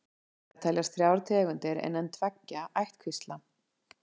Til þeirrar ættar teljast þrjár tegundir innan tveggja ættkvísla.